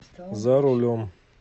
за рулем